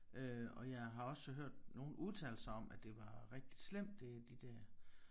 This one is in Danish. Øh og jeg har også hørt nogen udtale sig om at det var rigtig slemt det de der